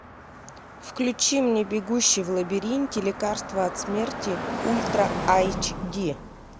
включи мне бегущий в лабиринте лекарство от смерти ультра айч ди